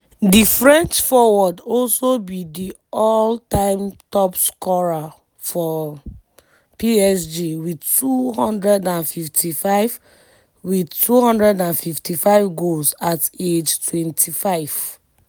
di french forward also be di all-time top scorer for psg wit 255 wit 255 goals at age 25.